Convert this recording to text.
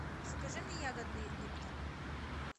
закажи мне ягодный липтон